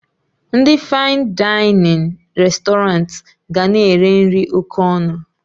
Ndị fain dainịn restọranti ga na-ere nri oké ọnụ